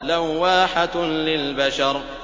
لَوَّاحَةٌ لِّلْبَشَرِ